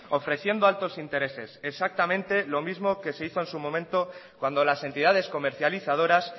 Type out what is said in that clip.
ofreciendo altos intereses exactamente lo mismo que se hizo en su momento cuando las entidades comercializadoras